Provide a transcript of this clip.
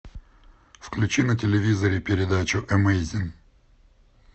включи на телевизоре передачу эмейзин